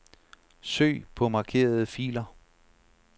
Søg på markerede filer.